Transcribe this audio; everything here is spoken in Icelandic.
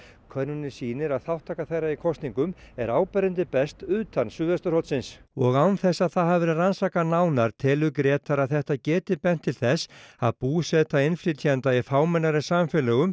könnunin sýnir að þátttaka þeirra í kosningum er áberandi best utan suðvesturhornsins og án þess að það hafi verið rannsakað nánar telur Grétar að þetta geti bent til þess að búseta innflytjenda í fámennari samfélögunum